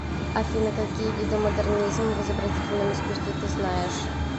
афина какие виды модернизм в изобразительном искусстве ты знаешь